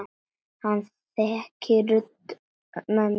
Hann þekkir rödd mömmu sinnar.